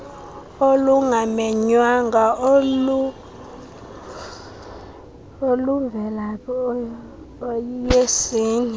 olungamenywanga olumvelaphi iyeyesini